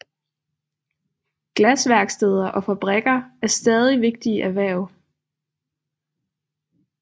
Glasværksteder og fabrikker er stadig vigtige erhverv